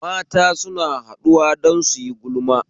Mata suna haɗuwa don suyi gulma